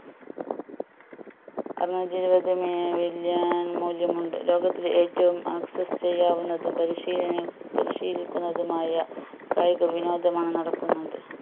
അറുനൂറ്റി ഇരുപത് മി million മൂല്യമുണ്ട് ലോകത്തിൽ ഏറ്റവും access ചെയ്യാവുന്നതും പരിശീലനം പരിശീലിക്കുന്നതുമായ കായിക വിനോദനമാണ് നടക്കുന്നത്